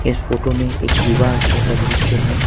इस फोटो में एक विवाह स्थल का दृश्य है।